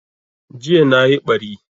Jiya nayi ɓari